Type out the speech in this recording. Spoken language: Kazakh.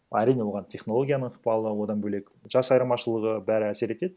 әрине оған технологияның ықпалы одан бөлек жас айырмашылығы бәрі әсер етеді